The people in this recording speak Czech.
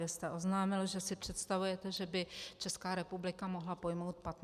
Vy jste oznámil, že si představujete, že by Česká republika mohla pojmout 15 000 migrantů.